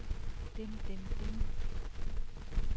dem dem dem